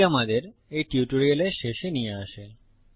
এটি আমাদের এই টিউটোরিয়ালের শেষে নিয়ে আসে